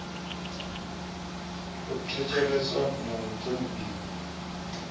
a thetsheleswe na u thonifhiwa